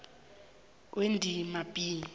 kwendima b